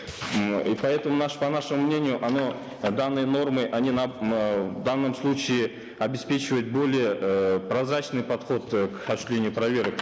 м и поэтому по нашему мнению оно данные нормы они эээ в данном случае обеспечивают более эээ прозрачный подход э к осуществлению проверок